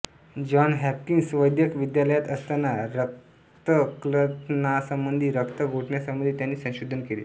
John Hopkins वैद्यक विद्यालयात असताना रक्तक्लथनासंबंधी रक्त गोठण्यासंबंधी त्यांनी संशोधन केले